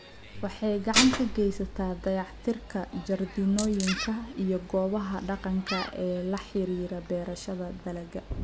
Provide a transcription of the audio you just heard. Waxay gacan ka geysataa dayactirka jardiinooyinka iyo goobaha dhaqanka ee la xiriira beerashada dalagga.